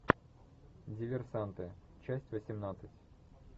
диверсанты часть восемнадцать